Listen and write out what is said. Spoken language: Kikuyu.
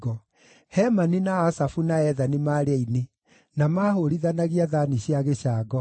Hemani, na Asafu na Ethani maarĩ aini na maahũũrithanagia thaani cia gĩcango;